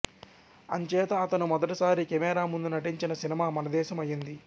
అంచేత అతను మొదటిసారి కెమేరా ముందు నటించిన సినిమా మనదేశం అయింది